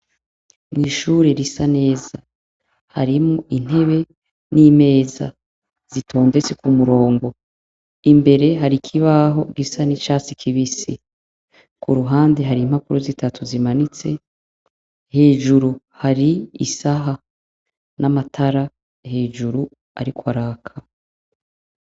Irishure risa neza harimwo intebe n’imeza zitondetse kumurongo, imbere hari ikibaho gisa n’icatsi kibisi kuruhande hari impapuro zitatu zimanitse, hejuru hari isaha n’amatara hejuru ariko araka.